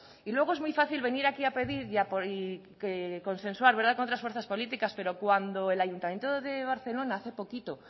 y luego es muy fácil venir aquí a pedir y consensuar con otras fuerzas políticas pero cuando el ayuntamiento de barcelona hace poquito